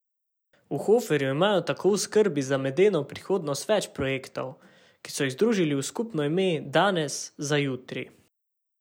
V Hoferju imajo tako v skrbi za medeno prihodnost več projektov, ki so jih združili v skupno ime Danes za jutri.